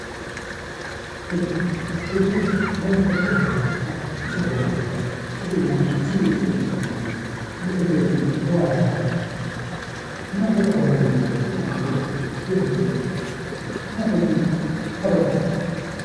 Hojii Hojiin waan tokko dhalli namaa isa malee jiraachuu kan hin dandeenye yoo hojjetan immoo bu'aa gaarii maallaqa gaarii irraa argachuu kan danda'u yoo hojjetan. Kanaaf hojiin kabaja qaba.